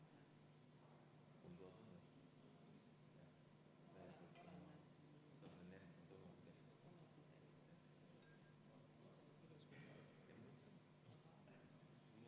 Palun Eesti Konservatiivse Rahvaerakonna fraktsiooni nimel panna see muudatusettepanek hääletusele ja enne muudatusettepaneku hääletust palun teha kümme minutit vaheaega.